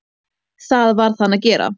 Það varð hann að gera.